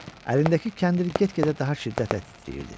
Əlindəki kəndir get-gedə daha şiddətlə titrəyirdi.